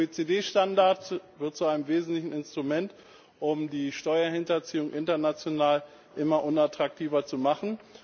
Der OECD Standard wird zu einem wesentlichen Instrument, um die Steuerhinterziehung international immer unattraktiver zu machen.